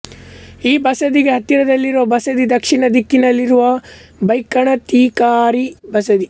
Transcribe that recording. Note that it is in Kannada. ಈ ಬಸದಿಗೆ ಹತ್ತಿರದಲ್ಲಿರುವ ಬಸದಿ ದಕ್ಷಿಣ ದಿಕ್ಕಿನಲ್ಲಿರುವ ಬೈಕಣತಿಕಾರಿ ಬಸದಿ